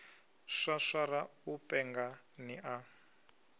swaswara u penga ni a